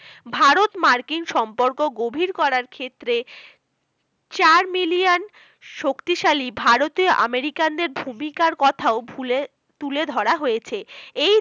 ভারত মার্কিন সম্পর্ক গভীর করার ক্ষেত্রে চার million শক্তিশালী ভারতে American দের ভূমিকার কোথাও তুলে ধরা হয়েছে এই